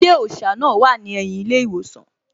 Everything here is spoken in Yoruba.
Ilé òṣà náà wà ní ẹ̀yìn ilé ìwòsàn